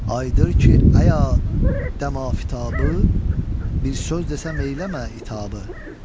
Ayıdır ki, əya, dəmafitabı, bir söz desə meyləmə itabı.